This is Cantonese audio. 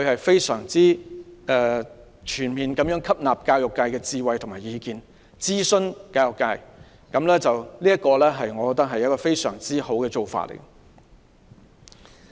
當時她全面吸納了教育界的智慧和意見，並諮詢教育界，我認為這是非常好的做法。